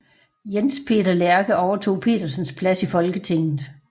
Jens Peter Lerke overtog Petersens plads i Folketinget